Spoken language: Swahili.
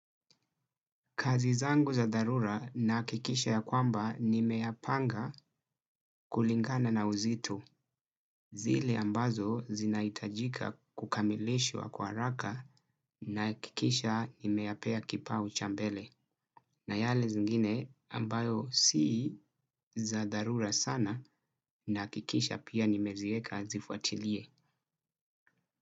Kazi zangu za dharura naakikisha ya kwamba nimeyapanga kulingana na uzito. Zile ambazo zinaitajika kukamilishwa kwa haraka naakikisha nimeyapea kipa uchambele. Na yale zingine ambayo si za dharura sana naakikisha pia nimezieka azifuatilie.